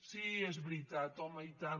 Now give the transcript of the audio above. sí és veritat home i tant